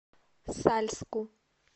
сальску